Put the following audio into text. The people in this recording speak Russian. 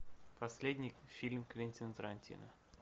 последний фильм квентина тарантино